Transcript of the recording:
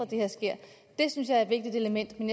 det her sker det synes jeg er et vigtigt element men